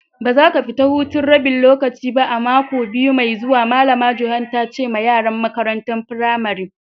Ba za ka fita hutun rabin lokaci ba a'mako biyu mai zuwan! Malama Joan ta ce ma yaran makarantan firamarin.